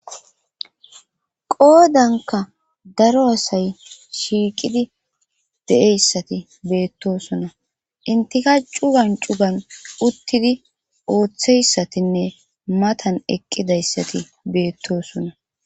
qoodanka daro asay shiiqidi de7eyssati beettosona intika cugan cugan uttidi ooththeyssatinne matan eqqidayssati beettosona